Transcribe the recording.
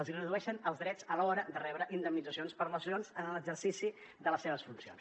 els redueixen els drets a l’hora de rebre indemnitzacions per lesions en l’exercici de les seves funcions